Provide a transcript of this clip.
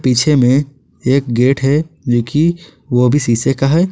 पीछे में एक गेट है जो कि वो भी सीसे का है।